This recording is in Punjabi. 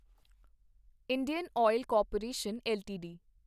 Indian Oil Corporation LTD